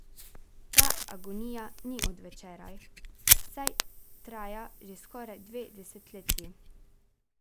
Ta agonija ni od včeraj, saj traja že skoraj dve desetletji.